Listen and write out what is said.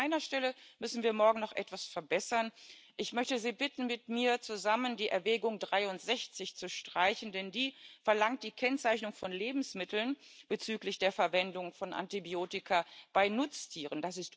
Aber an einer Stelle müssen wir morgen noch etwas verbessern Ich möchte Sie bitten, mit mir zusammen die Erwägung 63 zu streichen, denn die verlangt die Kennzeichnung von Lebensmitteln bezüglich der Verwendung von Antibiotika bei Nutztieren.